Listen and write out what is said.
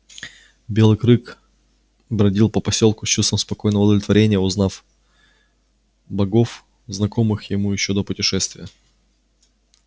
белый крык бродил по посёлку с чувством спокойного удовлетворения узнавая богов знакомых ему ещё до путешествия